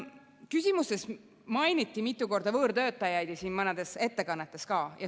Küsimustes mainiti mitu korda võõrtöötajaid ja mõnedes ettekannetes ka.